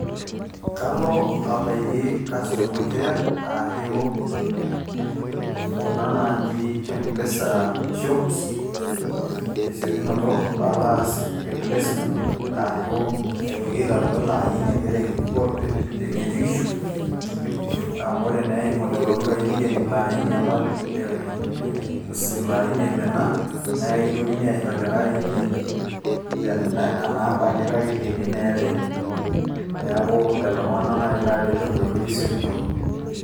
Kalo abaiki customer care ,ashu kuna naaji M-PESA shops ,tesiokinoto palaa aas replacement ashu aitoki aitayu elaini ake teng'ejukishu, amu ore naa eimu lelo dukai neikeni ilo aini apa le iloaini oimina, nekintokini aisho likae aini nena amba ake kake ikeni naa elde. Neeku lelo tung'anak nai laret tenkoitoi esiokinoto.